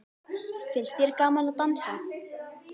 Finnst þér gaman að dansa?